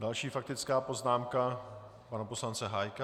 Další faktická poznámka pana poslance Hájka.